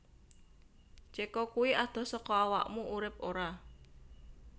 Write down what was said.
Ceko kui adoh soko awakmu urip ora